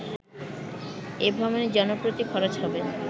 এ ভ্রমণে জনপ্রতি খরচ হবে